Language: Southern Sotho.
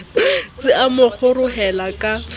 se a mo kgorohela ka